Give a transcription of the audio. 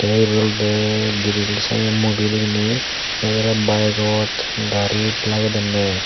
te ibot olowde grill sanne mobile ibeni egorey bayegot garit lagedonne.